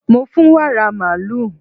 Mo fún wàrà màlúù.